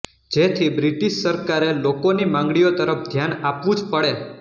જેથી બ્રિટિશ સરકારે લોકોની માંગણીઓ તરફ ધ્યાન આપવું જ પડે